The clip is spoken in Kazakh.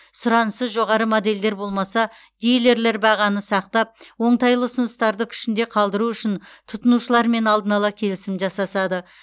сұранысы жоғары модельдер болмаса диллерлер бағаны сақтап оңтайлы ұсыныстарды күшінде қалдыру үшін тұтынушылармен алдын ала келісім жасасады